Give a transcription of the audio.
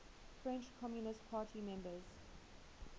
french communist party members